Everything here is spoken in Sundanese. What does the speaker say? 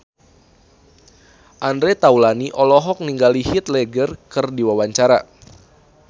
Andre Taulany olohok ningali Heath Ledger keur diwawancara